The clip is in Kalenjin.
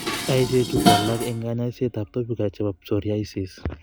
Ichechu ko alak en konyoisiet ab topica l chebo psoriasis